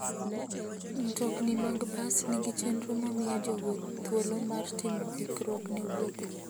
Mtokni mag bas nigi chenro ma miyo jowuoth thuolo mar timo ikruok ne wuodhgi.